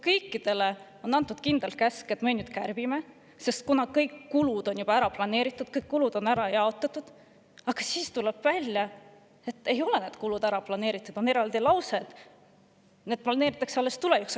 Kõikidele on antud kindel käsk kärpida, sest kõik kulud on juba ära planeeritud, ära jaotatud, aga siis tuleb välja, et need kulud ei olegi ära planeeritud, sest lause, et need planeeritakse alles tulevikus.